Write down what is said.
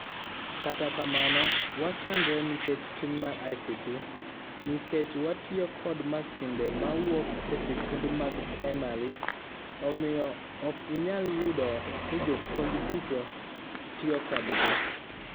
Kata kamano, wachandre nikech tin mar ICT nikech watiyo kod masinde mawuok esikunde mag praimar, omiyo ok inyal yudo nijopuonj duto tiyo kodgi.